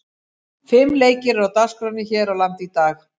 Fimm leikir eru á dagskránni hér á landi í dag.